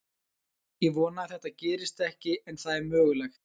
Ég vona að þetta gerist ekki en það er mögulegt.